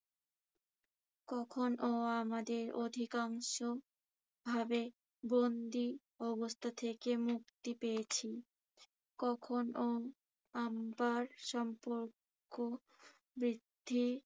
কখনো আমাদের অধিকাংশভাবে বন্ধি অবস্থা থেকে মুক্তি পেয়াছি। কখনো আবার সম্পর্ক বৃদ্ধি